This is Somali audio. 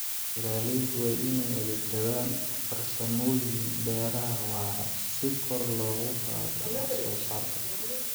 Beeraleydu waa inay adeegsadaan farsamooyin beeraha waara si kor loogu qaado wax soo saarka.